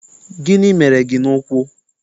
Gịnị mere gị n'ụkwụ?